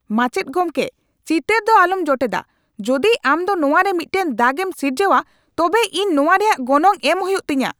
ᱢᱟᱪᱮᱫ ᱜᱚᱢᱠᱮ, ᱪᱤᱛᱟᱹᱨ ᱫᱚ ᱟᱞᱚᱢ ᱡᱚᱴᱮᱫᱟ ! ᱡᱩᱫᱤ ᱟᱢ ᱫᱚ ᱱᱚᱣᱟᱨᱮ ᱢᱤᱫᱴᱟᱝ ᱫᱟᱜ ᱮᱢ ᱥᱤᱨᱡᱟᱹᱣᱼᱟ ᱛᱚᱵᱮ ᱤᱧ ᱱᱚᱣᱟ ᱨᱮᱭᱟᱜ ᱜᱚᱱᱚᱝ ᱮᱢ ᱦᱩᱭᱩᱜ ᱛᱤᱧᱟ ᱾